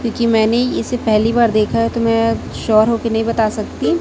क्योंकि मैंने इसे पहली बार देखा है तो मैं शोर हो के नहीं बता सकती।